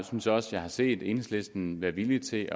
synes også jeg har set enhedslisten være villig til